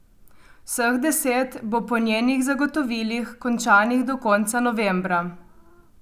Vseh deset bo po njenih zagotovilih končanih do konca novembra.